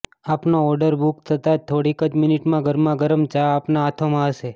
આપનો order book થતા જ થોડીક જ મિનિટમાં ગરમા ગરમ ચા આપના હાથોમાં હશે